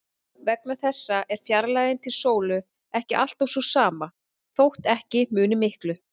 Vegna þessa er fjarlægðin til sólu ekki alltaf sú sama, þótt ekki muni miklu.